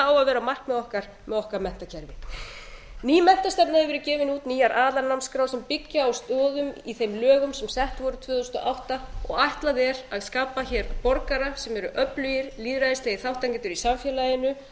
að vera markmið okkar með okkar menntakerfi ný menntastefna hefur verið gefin út nýjar aðalnámskrár sem byggja á stoðum í þeim lögum sem sett voru tvö þúsund og átta og ætlað er að skapa hér borgara sem eru öflugir lýðræðislegir þátttakendur í samfélaginu